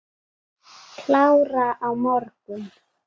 Klára á morgun.